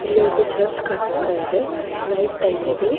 ಇಲ್ಲಿ ಒಂದು ಚರ್ಚ್ ಕಾಣಿಸ್ತಾ ಇದೆ. ನೈಟ್ ಟೈಮ್ ಇದು.